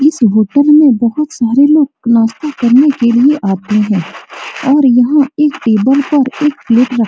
इस होटल में बहूत सारे लोग नास्ते करने के लिए आते हैं और यहाँ एक टेबल पर एक प्लेट रख --